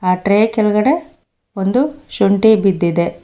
ಆ ಟ್ರೇ ಕೆಳಗಡೆ ಒಂದು ಶುಂಠಿ ಬಿದ್ದಿದೆ.